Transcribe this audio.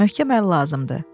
Möhkəm əl lazımdır.